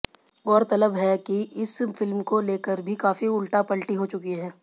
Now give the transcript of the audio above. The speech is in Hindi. गौरतलब है कि इस फिल्म को लेकर भी काफी उलटा पलटी हो चुकी है